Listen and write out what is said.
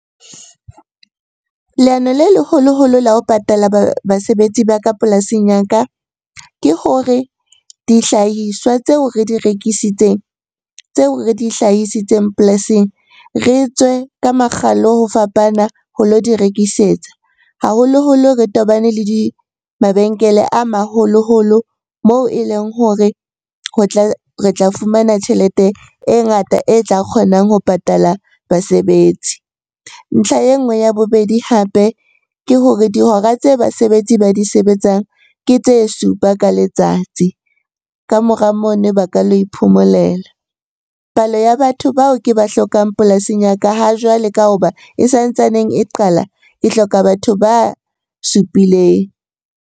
Leano le leholoholo la ho patala basebetsi ba ka polasing ya ka ke hore dihlahiswa tseo re di rekisitseng, tseo re di hlahisitseng polasing, re tswe ka makgalo ho fapana ho lo di rekisetsa. Haholoholo re tobane le mabenkele a maholoholo moo e leng hore re tla fumana tjhelete e ngata e tla kgonang ho patala basebetsi. Ntlha e nngwe ya bobedi hape ke hore dihora tse basebetsi ba di sebetsang ke tse supa ka letsatsi, ka mora mono ba ka la iphomolela. Palo ya batho bao ke ba hlokang polasing ya ka ha jwale ka hoba e sa ntsaneng e qala, ke hloka batho ba supileng.